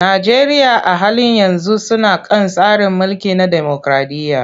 Najeriya a halin yanzu suna kan tsari mulki na demokraɗiyya.